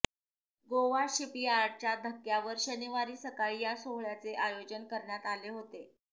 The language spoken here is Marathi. गोवा शिपयार्डच्या धक्क्यावर शनिवारी सकाळी या सोहळय़ाचे आयोजन करण्यात आले होते